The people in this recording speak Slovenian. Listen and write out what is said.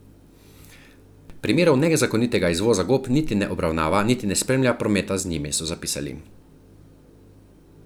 Primerov nezakonitega izvoza gob niti ne obravnava niti ne spremlja prometa z njimi, so zapisali.